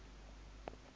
yomnga